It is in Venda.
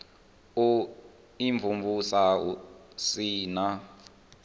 u imvumvusa hu si na